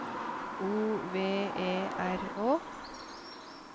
O V E R Å